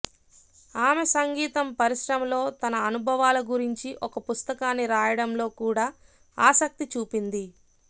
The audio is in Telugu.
ఆమె సంగీతం పరిశ్రమలో తన అనుభవాల గురించి ఒక పుస్తకాన్ని రాయడంలో కూడా ఆసక్తి చూపింది